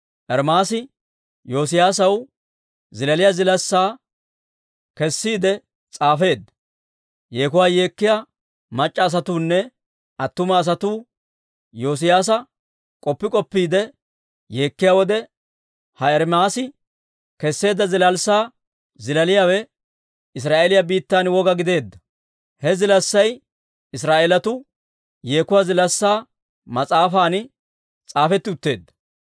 Ermaasi Yoosiyaasaw zilaaliyaa zilaassaa kessiide s'aafeedda; yeekuwaa yeekkiyaa mac'c'a asatuunne attuma asatuu Yoosiyaasa k'oppi k'oppiide yeekkiyaa wode, ha Ermaasi kesseedda zilaassaa zilaaliyaawe Israa'eeliyaa biittan woga gideedda. He zilaassay Israa'eelatuu Yeekuwaa Zilaassaa mas'aafan s'aafetti utteedda.